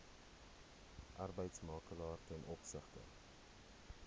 arbeidsmakelaar ten opsigte